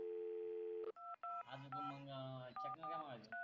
आपू का मंग चकणा काय मागायचे.